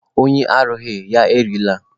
Onye arụghị, ya erila.